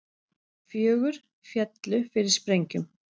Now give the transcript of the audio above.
Fjögur féllu fyrir sprengjum